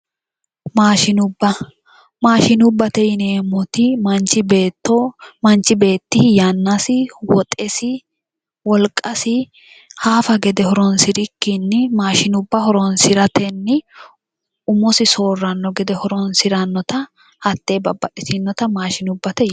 Maashinubba maashinubbate yineemmoti manchi beetti yannasi woxesi wolqasi haafa gede horoonsirikkinni maashinubba horoonsiratenni umosi soorranno gede horoonsirannota hattee babbaxxitinota maashinubbate yineemmo